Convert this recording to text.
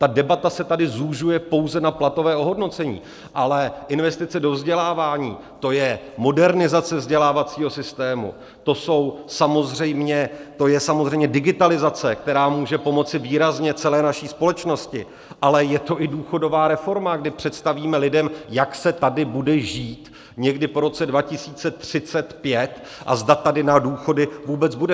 Ta debata se tady zužuje pouze na platové ohodnocení, ale investice do vzdělávání, to je modernizace vzdělávacího systému, to je samozřejmě digitalizace, která může pomoci výrazně celé naší společnosti, ale je to i důchodová reforma, kdy představíme lidem, jak se tady bude žít někdy po roce 2035 a zda tady na důchody vůbec bude.